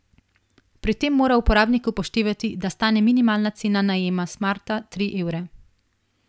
Pri tem mora uporabnik upoštevati, da stane minimalna cena najema smarta tri evre.